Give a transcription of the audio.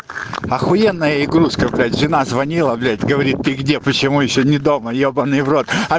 ахуенная игрушка блять жена звонила блять говорит ты где почему ещё не дома ёбанный в рот а